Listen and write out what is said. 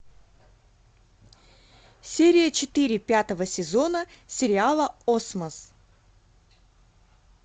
серия четыре пятого сезона сериала осмос